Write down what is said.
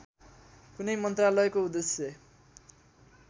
कुनै मन्त्रालयको उद्देश्य